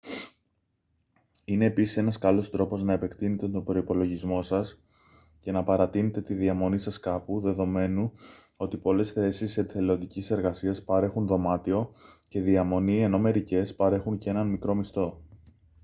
είναι επίσης ένας καλός τρόπος να επεκτείνετε τον προϋπολογισμό σας και να παρατείνετε τη διαμονή σας κάπου δεδομένου ότι πολλές θέσεις εθελοντικής εργασίας παρέχουν δωμάτιο και διαμονή ενώ μερικές παρέχουν και έναν μικρό μισθό